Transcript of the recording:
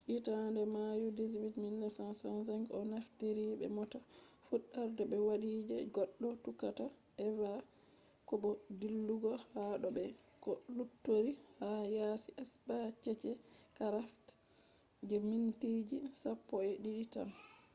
hitande mayu 18 1965 o naftiri be mota fuddarde be wadi je goddo tuqata eva ko bo dillugo ha do be ko luttori ha yaasi spacecraft je mintiji sappo’edidi tan